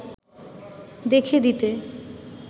দেখে দিতে